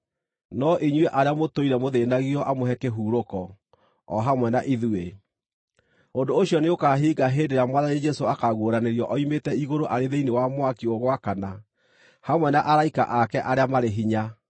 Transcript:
no inyuĩ arĩa mũtũire mũthĩĩnagio amũhe kĩhurũko, o hamwe na ithuĩ. Ũndũ ũcio nĩũkahinga hĩndĩ ĩrĩa Mwathani Jesũ akaaguũranĩrio oimĩte igũrũ arĩ thĩinĩ wa mwaki ũgwakana, hamwe na araika ake arĩa marĩ hinya.